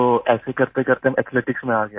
तो ऐसे करतेकरते मैं एथलेटिक्स में आ गया